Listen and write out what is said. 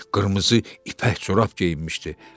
Qırmızı ipək corab geyinmişdi.